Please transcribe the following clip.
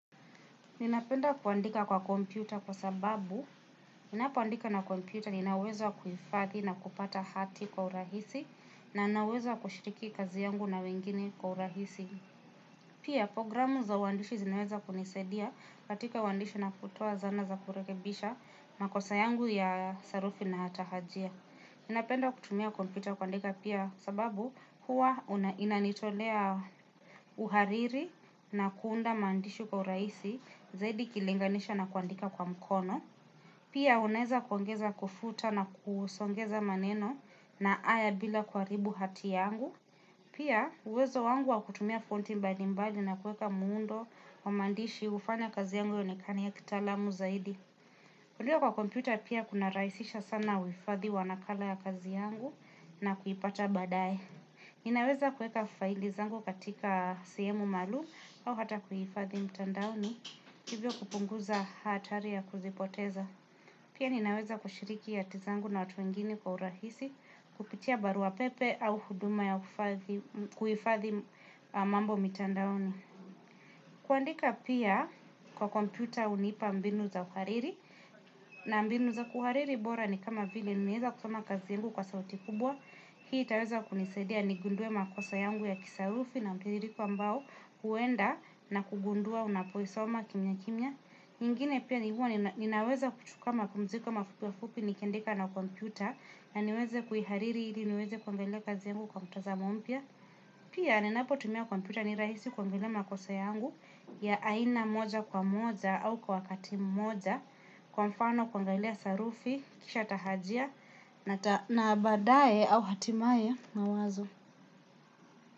Ninapenda kuandika kwa kompyuta kwa sababu, ninapoandika na kompyuta, nina uwezo kuifathi na kupata hati kwa urahisi, na nina uwezo wa kushiriki kazi yangu na wengine kwa urahisi. Pia, programu za uandishi zinaweza kunisaidia katika uandishi napotoa zana za kurekebisha, makosa yangu ya sarufi na hatahajia. Napenda kutumia kompyuta kwandika pia sababu huwa inanitolea uhariri na kuunda maandishi kwa uraisi zaidi ikilinganisha na kuandika kwa mkono. Pia unaeza kuongeza kufuta na kusongeza maneno na aya bila kuharibu hati yangu. Pia uwezo wangu wa kutumia fonti mbali mbali na kuweka muundo wa maandishi hufanya kazi yangu ionekane ya kitaalamu zaidi. Kulio kwa kompyuta pia kuna raisisha sana uifadhi wa nakala ya kazi yangu na kuipata baadae. Ninaweza kueka faili zangu katika sihemu maalum au hata kuhifadhi mtandaoni hivyo kupunguza hatari ya kuzipoteza. Pia ninaweza kushiriki yati zangu na watu wengine kwa urahisi kupitia baruwa pepe au huduma ya kuhifadhi mambo mtandaoni. Kuandika pia kwa kompyuta unipa mbinu za uhariri na mbinu za kuhariri bora ni kama vile nimeeza kusoma kazi yangu kwa sauti kubwa. Hii itaweza kunisaidia nigunduwe makosa yangu ya kisarufi na mtidhiriko ambao huenda na kugundua unapoisoma kimyakimya. Nyingine pia ni huwa ninaweza kuchuka mapumziko mafupi afupi nikiandika na kompyuta na niweze kuihariri ili niweze kuangalia kazi yangu kwa mtazamo mpya. Pia, ninapotumia kompyuta ni rahisi kuangalia makosa yangu ya aina moja kwa moja au kwa wakati mmoja, kwa mfano kuangalia sarufi, kisha tahajia, na baadae au hatimaye mawazo.